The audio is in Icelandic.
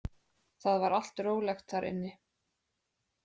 Það var allt rólegt þar inni.